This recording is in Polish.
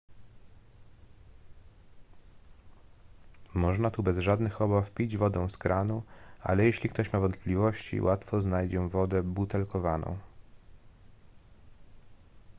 można tu bez żadnych obaw pić wodę z kranu ale jeśli ktoś ma wątpliwości łatwo znajdzie wodę butelkowaną